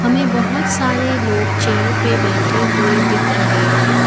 हमें बहोत सारे लोग चेयर पे बैठे हुए दिख रहे हैं।